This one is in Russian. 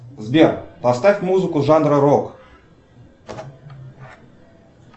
сбер поставь музыку жанра рок